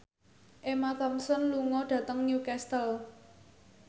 Emma Thompson lunga dhateng Newcastle